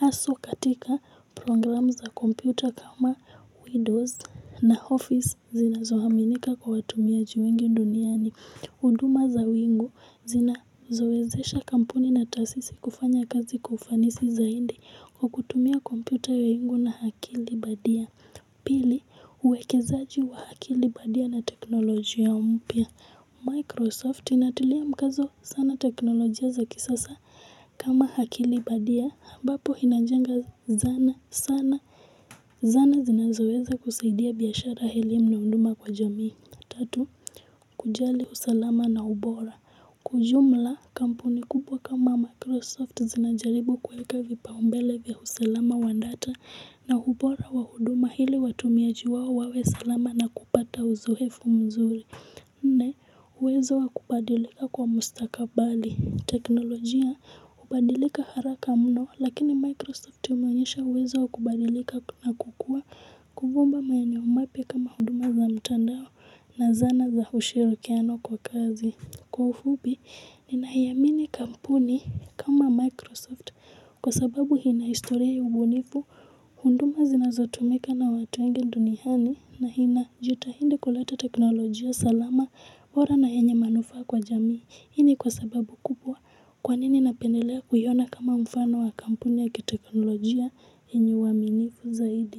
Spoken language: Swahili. Aswa katika program za kompyuta kama windows na office zinazohaminika kwa watumiaji wengi duniani. Uduma za wingu zinazowezesha kampuni na taasisi kufanya kazi kwa ufanisi za hindi kukutumia kompyuta ya wingu na hakili badia. Pili uwekezaji wa hakili badia na teknolojia mpya. Microsoft inatilia mkazo sana teknolojia za kisasa. Kama hakili badia ambapo hinajenga zana sana Zana zinazoweza kusaidia biyashara eilimu naunduma kwa jamii Tatu kujali usalama na ubora Kwa ujumla kampuni kubwa kama Microsoft zinajaribu kuweka vipa umbele vya usalama wa ndata na ubora wa huduma hili watumiaji wao wawe salama na kupata uzohefu mzuri Nne uwezo wa kubadilika kwa mustakabali teknolojia ubadilika haraka mno lakini Microsoft umeonyesha uwezo wa kubadilika na kukua kuvumba maeneo mapya kama hunduma za mtandao na zana za ushirikiano kwa kazi. Kwa ufupi, ninayamini kampuni kama Microsoft kwa sababu hina historia ya ubunifu hunduma zinazotumika na watu wengi dunihani na hina jitahindi kulata teknolojia salama bora na yenye manufaa kwa jamii. Hii ni kwa sababu kupwa kwa nini napendelea kuiona kama mfano wa kampuni ya kiteknolojia yenye waminifu zaidi.